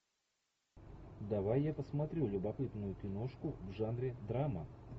давай я посмотрю любопытную киношку в жанре драма